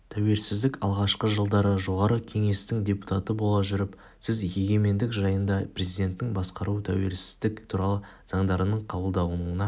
тәуелсіздік алғашқы жылдары жоғарғы кеңестің депутаты бола жүріп сіз егемендік жайындағы президенттік басқару тәуелсіздік туралы заңдардың қабылдануына